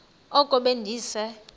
oko be ndise